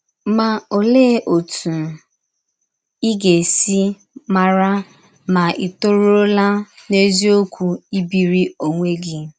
Ma, ọlee ọtụ ị ga - esi mara ma ì tọrụọla n’eziọkwụ ibiri ọnwe gị?